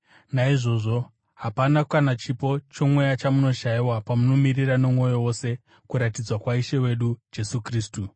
Naizvozvo hapana kana chipo chomweya chamunoshayiwa pamunomirira nomwoyo wose kuratidzwa kwaIshe wedu Jesu Kristu.